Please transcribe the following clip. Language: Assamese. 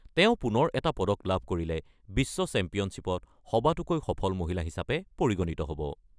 তেওঁ পুনৰ এটা পদক লাভ কৰিলে বিশ্ব চেম্পিয়নশ্বিপত সবাতোকৈ সফল মহিলা হিচাপে পৰিগণিত হ'ব।